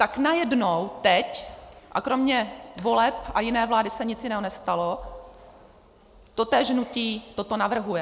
Tak najednou teď - a kromě voleb a jiné vlády se nic jiného nestalo - totéž hnutí toto navrhuje.